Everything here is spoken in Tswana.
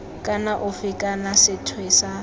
kana ofe kana sethwe sa